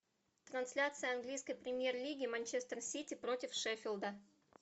трансляция английской премьер лиги манчестер сити против шеффилда